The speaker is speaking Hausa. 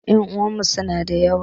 Ƴan uwanmu suna da yawa